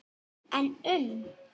En um?